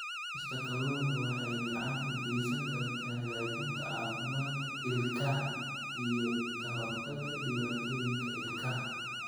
Cunista kalluunka waxay gacan ka geysan kartaa hagaajinta caafimaadka ilkaha iyo ka hortagga dhibaatooyinka ilkaha.